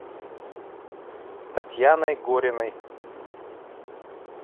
татьяной гориной